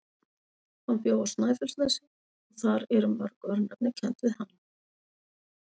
Hann bjó á Snæfellsnesi og þar eru mörg örnefni kennd við hann.